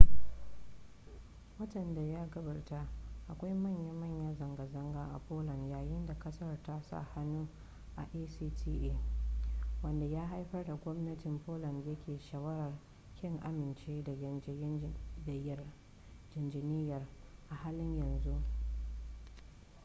watan da ya gabata akwai manya-manya zanga-zanga a poland yayin da kasar ta sa hannu a acta wanda ya haifar da gwamnatin poland yanke shawarar kin amincewa da yarjejeniyar a halin yanzu